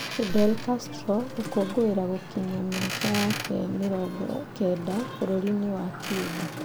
Fidel Castro gũkũngũĩra gũkinyia mĩaka yake 90 bũrũri-inĩ wa Cuba